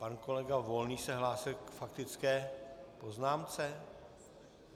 Pan kolega Volný se hlásil k faktické poznámce?